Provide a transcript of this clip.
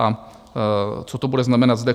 A co to bude znamenat zde?